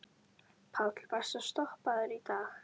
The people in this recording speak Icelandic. Páll: Varstu stoppaður í dag?